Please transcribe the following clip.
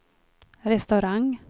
restaurang